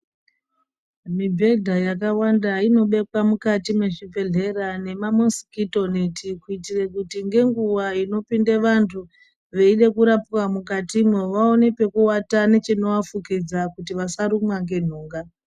Mibhedha yakawanda inobekwa mukati mwezvibhedhlera nema mosikito neti, kuitire kuti ngenguwa inopinde vantu veide kurapwa mukatimwo vaone pekuwata nechinovafukidza kuti vasarumwa ngenhunga.